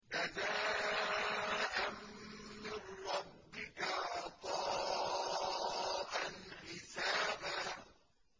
جَزَاءً مِّن رَّبِّكَ عَطَاءً حِسَابًا